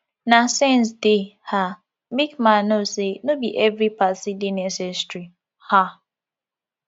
na sense dey um make man know say no bi evri party dey necessary um